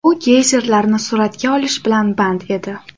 U geyzerlarni suratga olish bilan band edi.